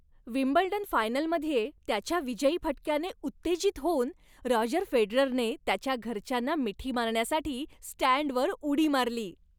Wimbledon फायनलमध्ये त्याच्या विजयी फटक्याने उत्तेजित होऊन रॉजर फेडररने त्याच्या घरच्यांना मिठी मारण्यासाठी स्टँडवर उडी मारली.